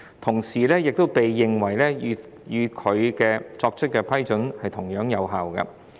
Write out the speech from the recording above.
同時也應被認為與他們自己作出的批准同樣有效。